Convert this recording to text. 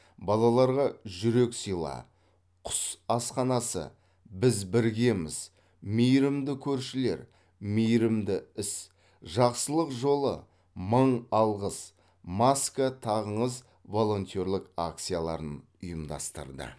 балаларға жүрек сыйла құс асханасы біз біргеміз мейірімді көршілер мейірімді іс жақсылық жолы мың алғыс маска тағыңыз волонтерлік акцияларын ұйымдастырды